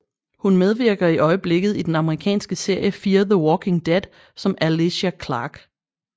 Hun medvirker i øjeblikket i den amerikanske serie Fear the walking dead som Alicia Clark